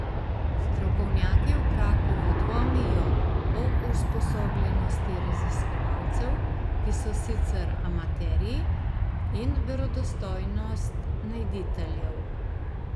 Strokovnjaki v Krakovu dvomijo o usposobljenosti raziskovalcev, ki so sicer amaterji, in verodostojnost najditeljev.